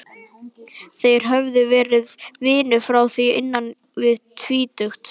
Þeir höfðu verið vinir frá því innan við tvítugt.